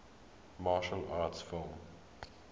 martial arts film